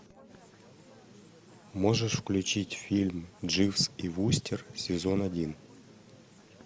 можешь включить фильм дживс и вустер сезон один